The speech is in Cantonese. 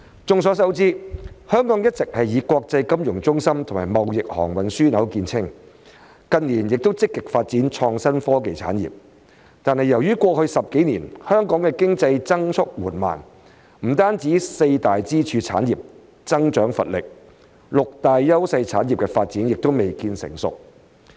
眾所周知，香港一直以國際金融中心及貿易航運樞紐見稱，近年亦積極發展創新科技產業，但由於過去10幾年香港的經濟增速緩慢，不僅四大支柱產業增長乏力，六大優勢產業的發展亦未見成熟。